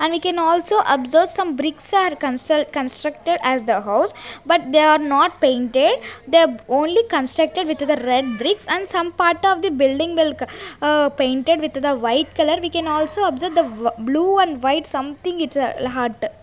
and we can also observe some bricks are constru constructed as the house but they are not painted they are only constructed with the red bricks and some part of the building will ah painted with the white color we can also observe the blue and white something it's a hut.